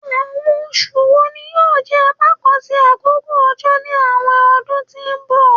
Awọn oṣu wo ni yoo jẹ apakan ti akoko ojo ni awọn ọdun ti n bọ?